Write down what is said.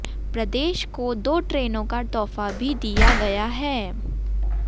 प्रदेश को दो ट्रेनों का तोहफा भी दिया गया है